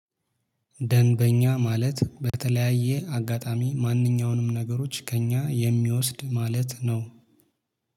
ደንበኛ ማለት በተለያየ አጋጣሚ ማንኛውንም ነገሮች ከእኛ የሚወስድ ማለት ነው